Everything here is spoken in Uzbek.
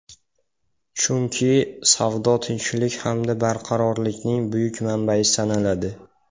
Chunki savdo tinchlik hamda barqarorlikning buyuk manbai sanaladi.